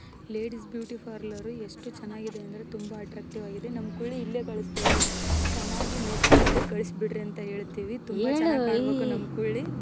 Ladies beauty parlour ಎಷ್ಟು ಚೆನ್ನಾಗಿದೆ ಅಂದ್ರೆ ತುಂಬಾ ಅಟ್ರಾಕ್ಟೀವ್‌ ಆಗಿದೆ ನಮ್ಮ ಕುಳ್ಳಿ ಇಲ್ಲೆ ಕಳಸ್ತಿವಿ ಚೆನ್ನಾಗಿ ಮೆಕಪ್‌ ಮಾಡಿ ಕಳ್ಸಬಿಡ್ರಿ ಅಂತ ಹೆಳ್ತಿವಿ ತುಂಬಾ ಚೆನ್ನಾಗಿ ಕಾಣಬೆಕು ನಮ್‌ ಕುಳ್ಳಿ .